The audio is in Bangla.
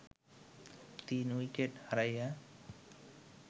৩ উইকেট হারাইয়া